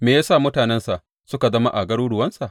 Me ya sa mutanensa suka zama a garuruwansa?